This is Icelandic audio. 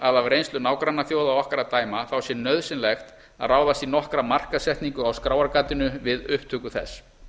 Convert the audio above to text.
að af reynslu nágrannaþjóða okkar af dæma sé nauðsynlegt að ráðast í nokkra markaðssetningu á skráargatinu við upptöku þess